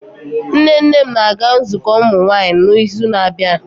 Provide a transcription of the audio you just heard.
Nne nne m na-aga nzukọ ụmụnwaanyị n'izu na-abịa.